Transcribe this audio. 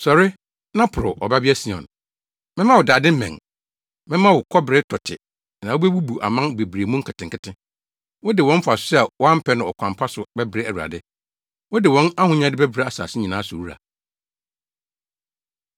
“Sɔre, na porow, Ɔbabea Sion, mɛma wo dade mmɛn; mɛma wo kɔbere tɔte na wubebubu aman bebree mu nketenkete.” Wode wɔn mfaso a wɔampɛ no ɔkwan pa so bɛbrɛ Awurade, wode wɔn ahonyade bɛbrɛ asase nyinaa so wura.